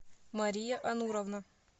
мария ануровна